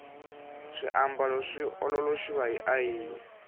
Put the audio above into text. swiambalo swi ololoxiwa hi ayini